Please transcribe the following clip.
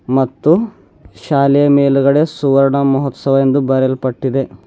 ಮತ್ತು ಶಾಲೆಯ ಮೇಲ್ಗಡೆ ಸುವರ್ಣ ಮಹೋತ್ಸವ ಎಂದು ಬರೆಯಲ್ಪಟ್ಟಿದೆ.